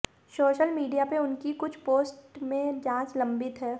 social media पर उनकी कुछ पोस्ट में जांच लम्बित है